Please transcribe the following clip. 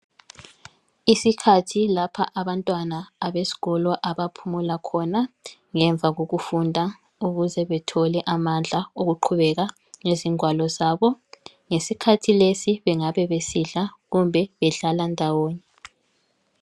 Isikhathi lapha abantwana abeskolo abaphumula khona ngemva kokufunda ukuze bethole amandla okuqhubeka ngezingwalo zabo. Ngesikhathi lesi bengabe besidla kumbe bedlala ndawonye.